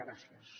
gràcies